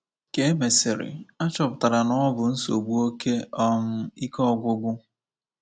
Ka e mesịrị, a chọpụtara na ọ bụ nsogbu oké um ike ọgwụgwụ.